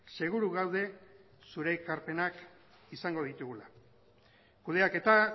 seguru gaude zure ekarpenak izango ditugula kudeaketa